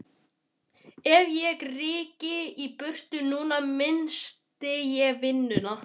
Ef ég ryki í burtu núna missti ég vinnuna.